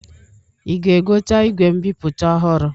Ị ga-egote igwe mbipụta ọhụrụ?